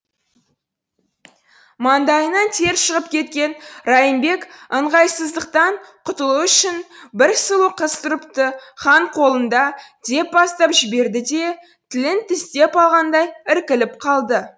маңдайынан тер шығып кеткен райымбек ыңғайсыздықтан құтылу үшін бір сұлу қыз тұрыпты хан қолында деп бастап жіберді де тілін тістеп алғандай іркіліп қалды